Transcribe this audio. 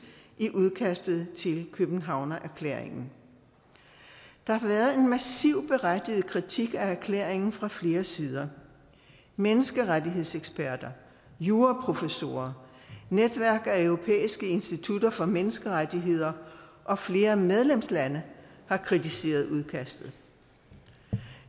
i udkastet til københavnererklæringen der har været en massiv berettiget kritik af erklæringen fra flere sider menneskerettighedseksperter juraprofessorer netværk af europæiske institutter for menneskerettigheder og flere medlemslande har kritiseret udkastet